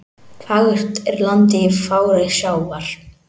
Fagurt er landið í fári sjávar.